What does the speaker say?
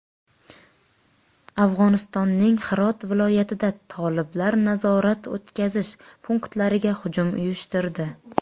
Afg‘onistonning Hirot viloyatida toliblar nazorat-o‘tkazish punktlariga hujum uyushtirdi.